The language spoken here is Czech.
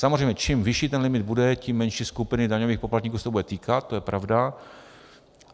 Samozřejmě čím vyšší ten limit bude, tím menší skupiny daňových poplatníků se to bude týkat, to je pravda.